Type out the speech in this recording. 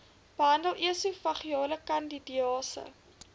behandel esofageale kandidiase